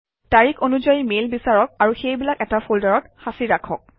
তাৰিখ অনুযায়ী মেইল বিচাৰক আৰু সেইবিলাক এটা ফল্ডাৰত সাঁচি ৰাখক